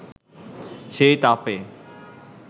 সেই তাপে